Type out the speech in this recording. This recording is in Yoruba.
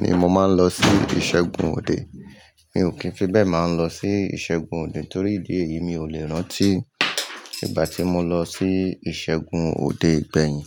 ni mo máa ń lọ sí ìṣẹ́gun òde. Mi ò kíń fi bẹ́ẹ̀ máa lọ sí ìṣẹ́gun òde torí ìdí èyí mi ò lè rántí. Ìgbà tí mo lọ sí ìṣẹ́gun òde gbẹ̀yìn.